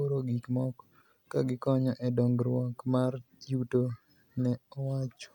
oro gik moko, ka gikonyo e dongruok mar yuto, ne owacho.